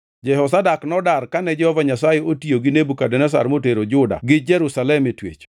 Jehozadak nodar kane Jehova Nyasaye otiyo gi Nebukadneza motero Juda gi Jerusalem e twech.